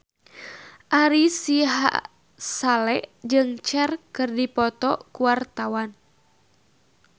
Ari Sihasale jeung Cher keur dipoto ku wartawan